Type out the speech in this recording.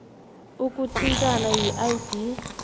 ukuthintana yidea t